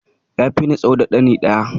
Ya fi ni tsawo da ɗani ɗaya